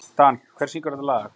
Dan, hver syngur þetta lag?